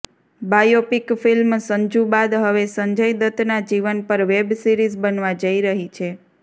biopic film Sanju બાદ હવે સંજય દત્તના જીવન પર વેબ સિરિઝ બનવા જઇ રહી છે